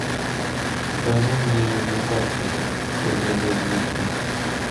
покажи мне на карте чтобы я долго не искал